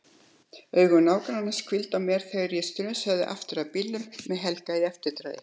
Augu nágrannans hvíla á mér þegar ég strunsa aftur að bílnum með Helga í eftirdragi.